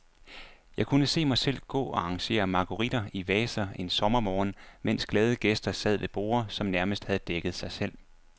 Jeg kunne se mig selv gå og arrangere marguritter i vaser en sommermorgen, mens glade gæster sad ved borde, som nærmest havde dækket sig selv.